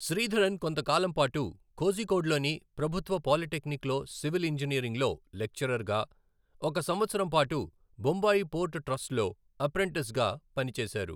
శ్రీధరన్ కొంత కాలంపాటు కోజికోడ్లోని ప్రభుత్వ పాలిటెక్నిక్లో సివిల్ ఇంజనీరింగ్లో లెక్చరర్గా, ఒక సంవత్సరంపాటు బొంబాయి పోర్ట్ ట్రస్ట్లో అప్రెంటిస్గా పనిచేశారు.